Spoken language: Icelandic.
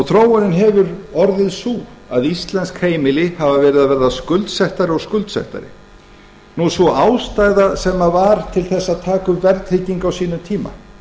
þróunin hefur orðið sú að íslensk heimili hafa verið að verða skuldsettari og skuldsettari sú ástæða sem var til þess að taka upp verðtryggingu á sínum tíma